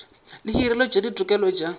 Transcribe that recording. le hireletšo ya ditokelo tša